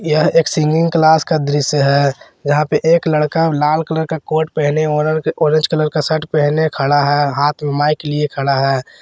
यह एक singing class का दृश्य है यहाँ पे एक लड़का लाल कलर का कोट पहने और ऑरेंज कलर का शर्ट पहने खड़ा है हाथ में माइक लिए खड़ा है।